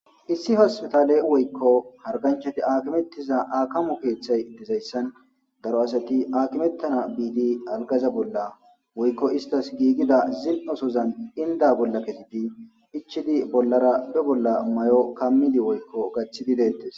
Issi hospetale woykko harganchati aakimettiza aakamu keeththay dizayssan daro asati aakimettana biidi algaza bolla woykko istas giigida zil7osozan inda bolla kesidi ichidi bollara be bolla may7o kammidi woykko gaththididetes